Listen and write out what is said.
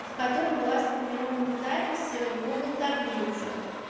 в котором была сформирована запись в гугл таблицах